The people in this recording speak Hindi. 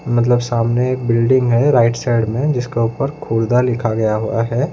मतलब सामने एक बिल्डिंग है राइट साइड में जिसका ऊपर खुर्दा लिखा गया हुआ है।